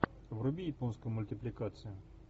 вруби японскую мультипликацию